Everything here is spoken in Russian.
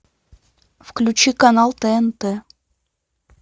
включи канал тнт